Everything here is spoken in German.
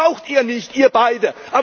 Mehr braucht Ihr nicht, Ihr beiden!